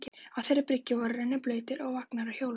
Á þeirri bryggju voru rennibrautir og vagnar á hjólum.